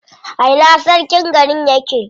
A ina sarkin garin yake?